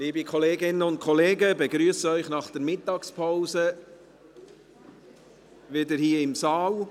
Liebe Kolleginnen und Kollegen, ich begrüsse Sie nach der Mittagspause wieder hier im Saal.